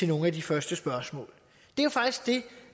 nogle af de første spørgsmål